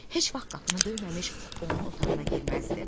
Heç vaxt qapını döyməmiş onun otağına girməzdi.